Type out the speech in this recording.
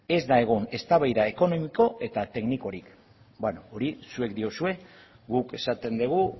ez da egon eztabaida ekonomiko eta teknikorik hori zuek diozue guk esaten dugu